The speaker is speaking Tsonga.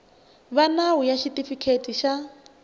va nawu ya xitifiketi xa